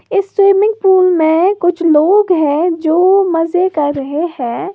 इस swimming pool में कुछ लोग है। जो मजे कर रहे हैं।